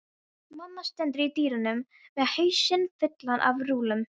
Mamma stendur í dyrunum með hausinn fullan af rúllum.